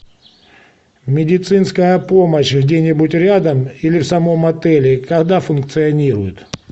медицинская помощь где нибудь рядом или в самом отеле когда функционирует